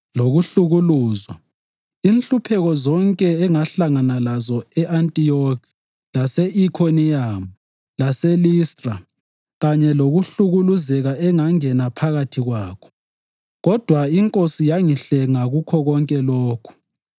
lokuhlukuluzwa, inhlupheko zonke engahlangana lazo e-Antiyokhi, lase-Ikhoniyamu, laseListra kanye lokuhlukuluzeka engangena phakathi kwakho. Kodwa iNkosi yangihlenga kukho konke lokhu.